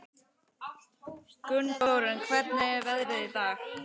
Gunnþórunn, hvernig er veðrið í dag?